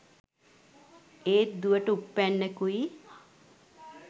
ඒත් දුවට උප්පැන්නෙකුයි